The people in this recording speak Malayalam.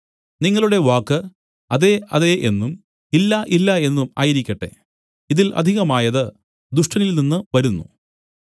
നിങ്ങളുടെ വാക്ക് അതെ അതെ എന്നും ഇല്ല ഇല്ല എന്നും ആയിരിക്കട്ടെ ഇതിൽ അധികമായത് ദുഷ്ടനിൽനിന്ന് വരുന്നു